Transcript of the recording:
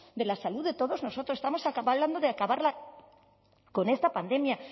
de la salud de todos nosotros estamos hablando de acabar con esta pandemia